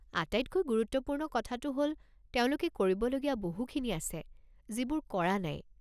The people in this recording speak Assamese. আটাইতকৈ গুৰুত্বপূৰ্ণ কথাটো হ'ল তেওঁলোকে কৰিবলগীয়া বহুখিনি আছে যিবোৰ কৰা নাই৷